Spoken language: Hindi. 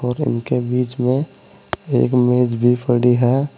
और उनके बीच में एक मेज भी पड़ी है।